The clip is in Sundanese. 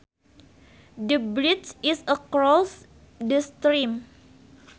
The bridge is across the stream